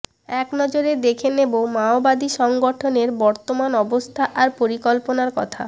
এক নজরে দেখে নেব মাওবাদী সংগঠনের বর্তমান অবস্থা আর পরিকল্পনার কথা